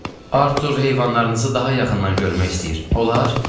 Artur heyvanlarınızı daha yaxından görmək istəyir, olar?